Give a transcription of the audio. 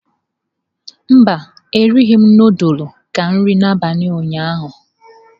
Mba, erighị m nudulu ka nri abalị ụnyaahụ.